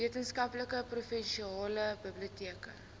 weskaapse provinsiale biblioteke